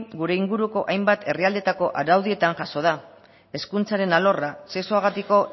gure inguruko hainbat herrialdeetako araudietan jaso da hezkuntzaren alorra sexuagatiko